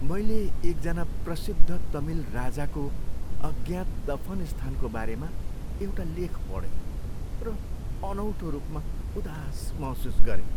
मैले एकजना प्रसिद्ध तमिल राजाको अज्ञात दफन स्थानको बारेमा एउटा लेख पढेँ र अनौठो रूपमा उदास महसुस गरेँ।